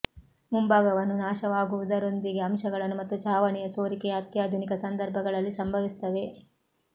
ಮುಂಭಾಗವನ್ನು ನಾಶವಾಗುವುದರೊಂದಿಗೆ ಅಂಶಗಳನ್ನು ಮತ್ತು ಛಾವಣಿಯ ಸೋರಿಕೆಯ ಅತ್ಯಾಧುನಿಕ ಸಂದರ್ಭಗಳಲ್ಲಿ ಸಂಭವಿಸುತ್ತವೆ